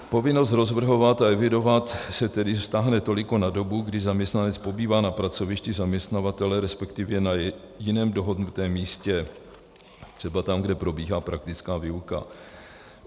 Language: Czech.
Povinnost rozvrhovat a evidovat se tedy vztáhne toliko na dobu, kdy zaměstnanec pobývá na pracovišti zaměstnavatele, respektive na jiném dohodnutém místě, třeba tam, kde probíhá praktická výuka.